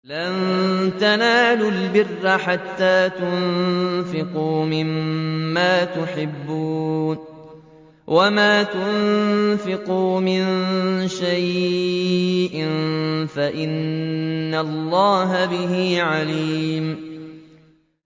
لَن تَنَالُوا الْبِرَّ حَتَّىٰ تُنفِقُوا مِمَّا تُحِبُّونَ ۚ وَمَا تُنفِقُوا مِن شَيْءٍ فَإِنَّ اللَّهَ بِهِ عَلِيمٌ